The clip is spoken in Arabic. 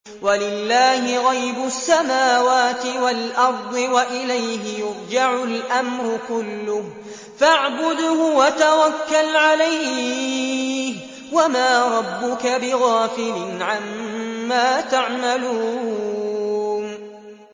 وَلِلَّهِ غَيْبُ السَّمَاوَاتِ وَالْأَرْضِ وَإِلَيْهِ يُرْجَعُ الْأَمْرُ كُلُّهُ فَاعْبُدْهُ وَتَوَكَّلْ عَلَيْهِ ۚ وَمَا رَبُّكَ بِغَافِلٍ عَمَّا تَعْمَلُونَ